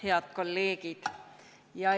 Head kolleegid!